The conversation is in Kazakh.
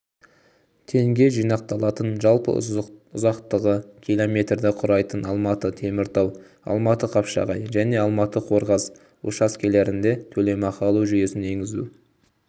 теңге жинақталатын жалпы ұзақтығы км-ді құрайтын алматы-теміртау алматы-қапшағай және алматы-қорғас учаскелерінде төлемақы алу жүйесін енгізу